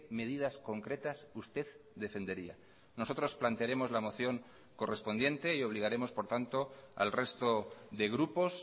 medidas concretas usted defendería nosotros plantearemos la moción correspondiente y obligaremos por tanto al resto de grupos